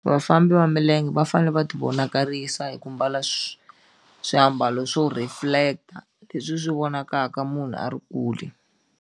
Vafambi va milenge va fanele va ti vonakarisa hi ku mbala swiambalo swo reflector leswi swi vonakaka munhu a ri kule.